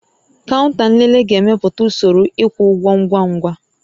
Kaụnta nlele ga-emepụta usoro ịkwụ ụgwọ ngwa ngwa